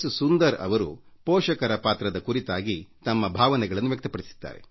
ಸುಂದರ್ ಅವರು ಪೋಷಕರ ಪಾತ್ರದ ಕುರಿತಾಗಿ ತಮ್ಮ ಭಾವನೆಗಳನ್ನು ವ್ಯಕ್ತಪಡಿಸಿದ್ದಾರೆ